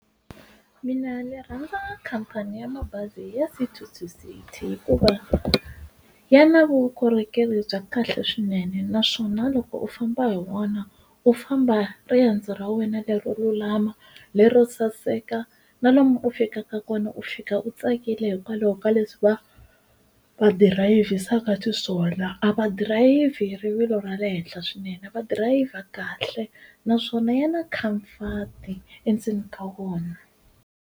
Mina ndzi rhandza khampani ya mabazi ya City to City hikuva ya na vukorhokeri bya kahle swinene naswona loko u famba hi wona u famba riendzo ra wena leri lulama lero saseka na lomu u fikaka kona u fika u tsakile hikwalaho ka leswi va va dirayivisaka xiswona a va dirayivhi rivilo ra le henhla swinene va dirayivha kahle naswona ya na khamfati endzeni ka vona.